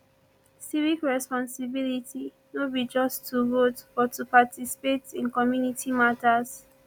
civic responsibility no be just to vote but to participate in community matters